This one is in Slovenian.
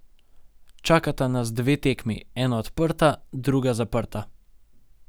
Čakata nas dve tekmi, ena odprta, druga zaprta.